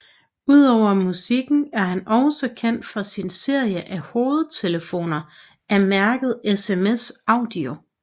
Ud over musikken er han også kendt for sin serie af hovedtelefoner af mærket SMS Audio